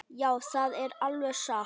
Já, það er alveg satt.